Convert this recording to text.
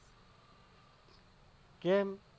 કેમ